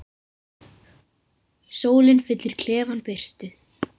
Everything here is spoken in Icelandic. Sólin fyllir klefann birtu.